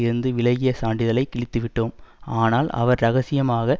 இருந்து விலகிய சான்றிதழை கிழித்துவிட்டோம் ஆனால் அவர் இரகசியமாக